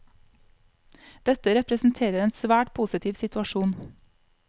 Dette representerer en svært positiv situasjon.